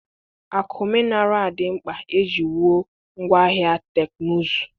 Akụ mineral dị mkpa iji wụọ́ ngwááhịa teknụzụ